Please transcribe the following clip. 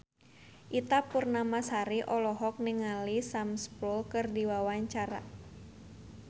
Ita Purnamasari olohok ningali Sam Spruell keur diwawancara